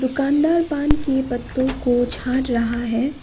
दुकानदार पान के पत्तों को छाट रहा है।